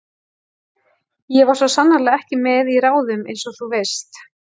Ég var svo sannarlega ekki með í ráðum einsog þú veist.